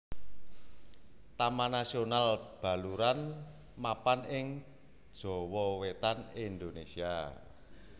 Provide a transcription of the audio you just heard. Taman Nasional Baluran mapan ing Jawa Wetan Indonésia